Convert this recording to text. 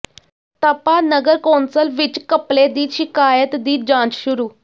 ਤਪਾ ਨਗਰ ਕੌਂਸਲ ਵਿੱਚ ਘਪਲੇ ਦੀ ਸ਼ਿਕਾਇਤ ਦੀ ਜਾਂਚ ਸ਼ੁਰੂ